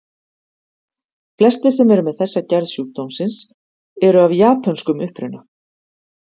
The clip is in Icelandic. Flestir sem eru með þessa gerð sjúkdómsins eru af japönskum uppruna.